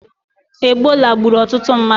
Egbola gburu ututu mmadu